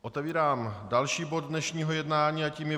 Otevírám další bod dnešního jednání a tím je